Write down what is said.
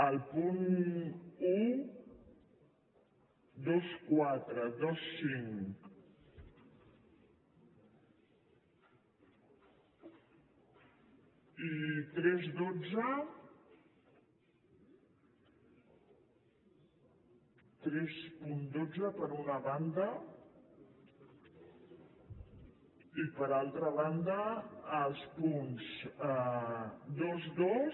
els punts un vint quatre vint cinc i tres cents i dotze per una banda i per altra banda els punts vint dos